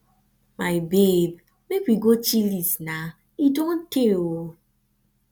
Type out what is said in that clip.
my babe make we go chillies na e don tey oo